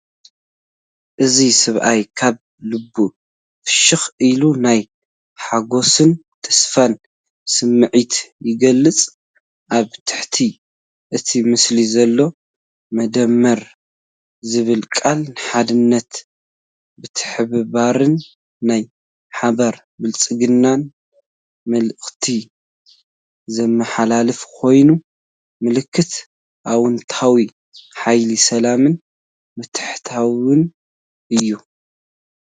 እዚ ሰብኣይ ካብ ልቡ ፍሽኽ ኢሉ፣ ናይ ሓጎስን ተስፋን ስምዒት ይገልጽ። ኣብ ትሕቲ እቲ ምስሊ ዘሎ "መደመር" ዝብል ቃል ንሓድነትን ምትሕብባርን ናይ ሓባር ብልጽግናን መልእኽቲ ዘመሓላልፍ ኮይኑ፡ ምልክት ኣወንታዊ ሓይሊ ሰላምን ምትእትታውን እዩ።